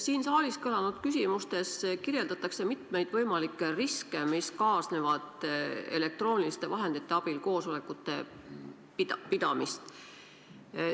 Siin saalis kõlanud küsimustes kirjeldatakse mitmeid võimalikke riske, mis kaasnevad elektrooniliste vahendite abil koosolekute pidamisega.